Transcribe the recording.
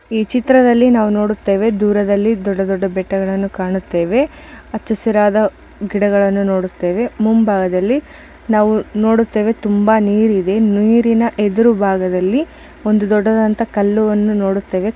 ಈ ಚಿತ್ರದಲ್ಲಿ ನಾವು ನೋಡುತ್ತೇವೆ ದೂರದಲ್ಲಿ ದೊಡ್ಡ ದೊಡ್ಡ ಬೆಟ್ಟಗಳನ್ನು ಕಾಣುತ್ತೇವೆ ಹೊಚ್ಚ ಹಸಿರಾದ ಗಿಡಗಳನ್ನು ನೋಡುತ್ತೇವೆ ಮುಂಭಾಗದಲ್ಲಿ ನಾವು ನೋಡುತ್ತೇವೆ ತುಂಬಾ ನೀರು ಇದೆ ನೀರಿನ ಎದುರು ಭಾಗದಲ್ಲಿ ಒಂದು ಕಲ್ಲನ್ನು ನೋಡುತ್ತೇವೆ.